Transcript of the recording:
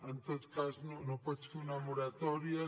en tot cas no pots fer una moratòria